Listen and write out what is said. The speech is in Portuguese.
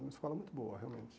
Uma escola muito boa, realmente.